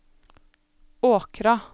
Åkra